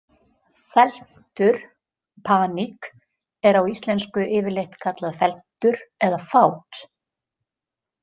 Felmtur „Paník“ er á íslensku yfirleitt kallað felmtur eða fát.